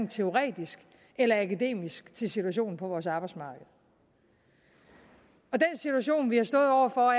teoretisk eller akademisk til situationen på vores arbejdsmarked og den situation vi har stået over for